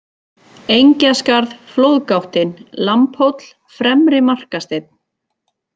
Engjaskarð, Flóðgáttin, Lambhóll, Fremri-Markasteinn